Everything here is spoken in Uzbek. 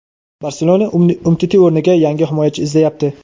"Barselona" Umtiti o‘rniga yangi himoyachi izlayapti.